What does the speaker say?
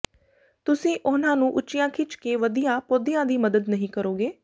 ਤੁਸੀਂ ਉਨ੍ਹਾਂ ਨੂੰ ਉੱਚੀਆਂ ਖਿੱਚ ਕੇ ਵਧੀਆਂ ਪੌਦਿਆਂ ਦੀ ਮਦਦ ਨਹੀਂ ਕਰੋਗੇ